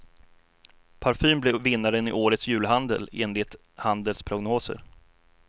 Parfym blir vinnaren i årets julhandel enligt handelns prognoser.